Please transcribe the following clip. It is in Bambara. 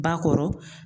Ba kɔrɔ